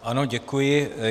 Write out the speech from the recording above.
Ano, děkuji.